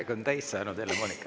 Aeg on täis saanud, Helle-Moonika.